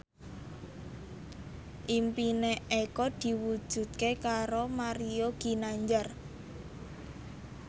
impine Eko diwujudke karo Mario Ginanjar